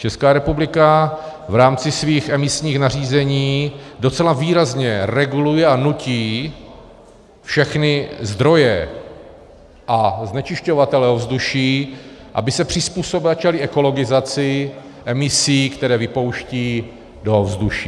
Česká republika v rámci svých emisních nařízení docela výrazně reguluje a nutí všechny zdroje a znečišťovatele ovzduší, aby se přizpůsobili ekologizaci emisí, které vypouštějí do ovzduší.